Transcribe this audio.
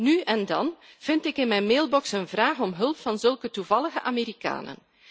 Nu en dan vind ik in mijn mailbox een vraag om hulp van zulke toevallige Amerikanen.